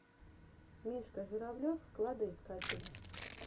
мишка журавлев кладоискатель